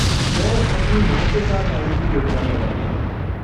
मैं अपनी माँ के साथ आने की योजना बना रहा हूँ।